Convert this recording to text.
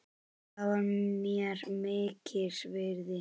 Það var mér mikils virði.